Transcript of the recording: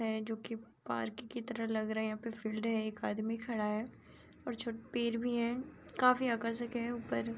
है जोकि पार्क की तरह लग रहे हैं यहाँ पे फील्ड है। एक आदमी खड़ा है और छो पीर भी हैं काफी आकर्षक है ऊपर -